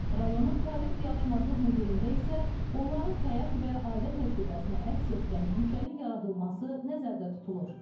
Rayonun tarix-diyarşünaslıq muzeyində isə onların həyat və ailə təcrübəsini əks etdirən guşənin yaradılması nəzərdə tutulur.